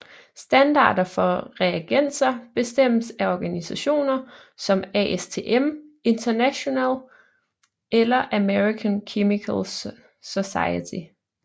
Standarder for reagenser bestemmes af organisationer som ASTM International eller American Chemical Society